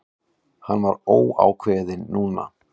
Hann var ákveðinn núna.